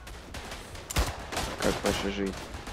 как ваша жизнь